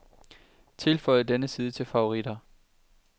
Tilføj denne side til favoritter.